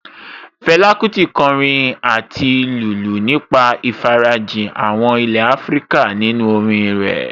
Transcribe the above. Fẹlá Kúti kọrin àti lùlù nípa ìfarajìn àwọn ilé Áfríkà nínú orin rẹ̀